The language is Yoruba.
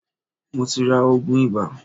Mo ti ra òògùn ibà.